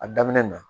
A daminɛ na